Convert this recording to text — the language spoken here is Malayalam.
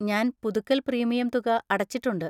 ഞാൻ പുതുക്കൽ പ്രീമിയം തുക അടച്ചിട്ടുണ്ട്.